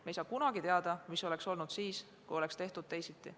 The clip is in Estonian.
Me ei saa kunagi teada, mis oleks olnud siis, kui oleks tehtud teisiti.